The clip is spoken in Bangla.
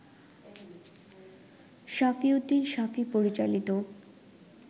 সাফি উদ্দিন সাফি পরিচালিত